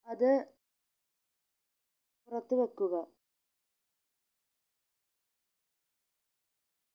അത് പുറത്ത് വെക്കുക